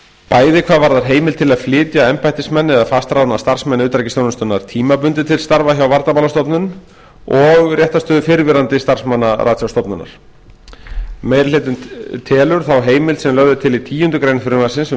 bæði hvað varðar heimild til að flytja embættismenn eða fastráðna starfsmenn utanríkisþjónustunnar tímabundið til starfa hjá varnarmálastofnun og réttarstöðu fyrrverandi starfsmanna ratsjárstofnunar meiri hlutinn telur þá heimild sem lögð er til í tíundu greinar frumvarpsins um